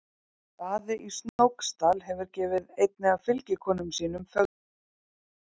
Daði í Snóksdal hefur gefið einni af fylgikonum sínum Fögrubrekku.